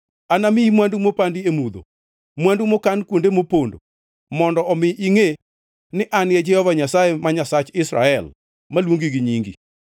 Anamiyi mwandu mopandi e mudho, mwandu mokan kuonde mopondo, mondo omi ingʼe ni An e Jehova Nyasaye ma Nyasach Israel, maluongi gi nyingi.